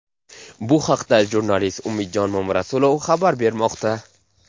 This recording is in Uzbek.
Bu haqda jurnalist Umidjon Mamarasulov xabar bermoqda.